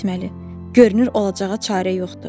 Nə etməli, görünür olacağa çarə yoxdur.